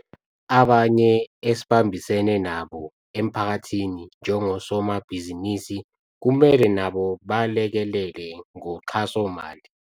Abanye esibambisene nabo emphakathini njengosomabhizinisi kumele nabo balekelele ngoxhasomali.